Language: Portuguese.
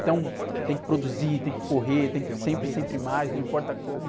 Então, tem que produzir, tem que correr, tem que sempre, sempre mais, não importa como.